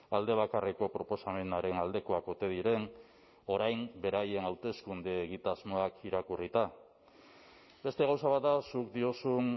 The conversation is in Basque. alde bakarreko proposamenaren aldekoak ote diren orain beraien hauteskunde egitasmoak irakurrita beste gauza bat da zuk diozun